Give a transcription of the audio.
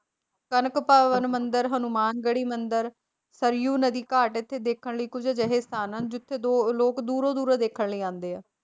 ਕਣਕ ਭਵਨ ਮੰਦਿਰ, ਹਨੂੰਮਾਨ ਗੜ੍ਹੀ ਮੰਦਿਰ, ਸਰਿਉ ਨਦੀ ਘਾਟ ਇੱਥੇ ਦੇਖਣ ਲਈ ਕੁੱਝ ਅਜਿਹੇ ਸਥਾਨ ਹਨ, ਜਿੱਥੇ ਦੋ ਲੋਕ ਦੂਰੋਂ ਦੂਰੋਂ ਦੇਖਣ ਲਈ ਆਉਂਦੇ ਆ।